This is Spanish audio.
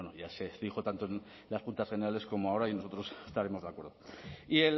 ya se dijo tanto en las juntas generales como ahora y nosotros estaremos de acuerdo y